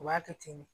U b'a kɛ ten de